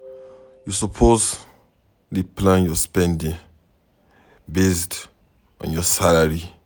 You suppose dey plan your spending based on your salary.